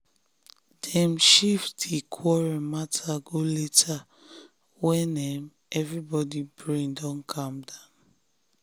dem shift di quarrel matter go later when um everybody brain don calm down.